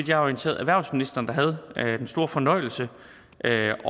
jeg er orienteret erhvervsministeren der havde den store fornøjelse at